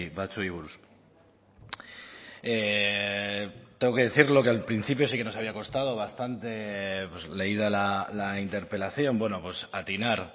batzuei buruz tengo que decirlo que al principio sí que nos había costado bastante leída la interpelación atinar